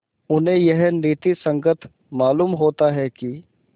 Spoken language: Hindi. उन्हें यह नीति संगत मालूम होता है कि